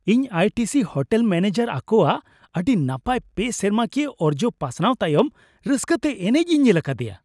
ᱤᱧ I T C hotel manager ᱟᱠᱚᱣᱟᱜ ᱟᱰᱤ ᱱᱟᱯᱟᱭ ᱯᱮ ᱥᱮᱨᱢᱟᱠᱤᱭᱟᱹ ᱚᱨᱡᱚ ᱯᱟᱥᱱᱟᱣ ᱛᱟᱭᱚᱢ ᱨᱟᱹᱥᱠᱟᱹᱛᱮ ᱮᱱᱮᱪ ᱤᱧ ᱧᱮᱞ ᱟᱠᱟᱫᱮᱭᱟ ᱾